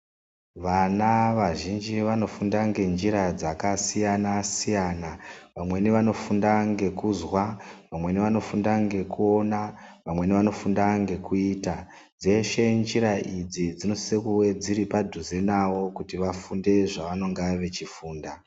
Vana vazhinji vanofunda ngenjira dzakasiyana siyana. Vamweni vanofunda ngekuzwa. Vamweni vanofunda ngekuona. Vamweni vanofunda ngekuita. Dzeshe njira idzi dzinosise kuve dziri padhuze navo kuti vafunde zvevanenge vechifunda.